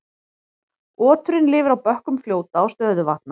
Oturinn lifir á bökkum fljóta og stöðuvatna.